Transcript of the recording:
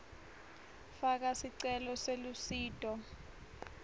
faka sicelo selusito